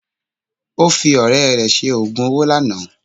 Ó fi ọ̀rẹ́ rẹ̀ ṣe ogún owo lánàá